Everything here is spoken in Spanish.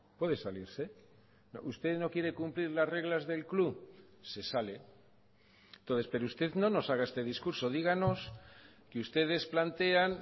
puede salirse usted no quiere cumplir las reglas del club se sale entonces pero usted no nos haga este discurso díganos que ustedes plantean